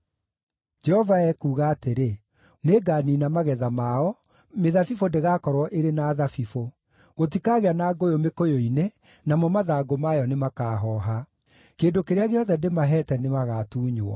“ ‘Jehova ekuuga atĩrĩ, nĩnganina magetha mao, mĩthabibũ ndĩgaakorwo ĩrĩ na thabibũ. Gũtikagĩa na ngũyũ mĩkũyũ-inĩ, namo mathangũ mayo nĩmakahooha. Kĩndũ kĩrĩa gĩothe ndĩmaheete nĩmagatunywo.’ ”